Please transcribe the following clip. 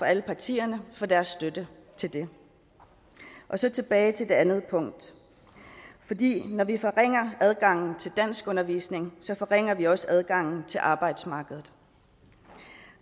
alle partierne for deres støtte til det og så tilbage til det andet punkt når vi forringer adgangen til danskundervisning forringer vi også adgangen til arbejdsmarkedet